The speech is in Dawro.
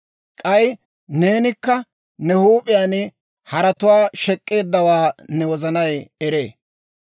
K'ay neenikka ne huup'iyaan haratuwaa shek'k'eeddawaa ne wozanay eree.